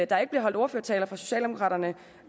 der ikke bliver holdt ordførertaler fra socialdemokraternes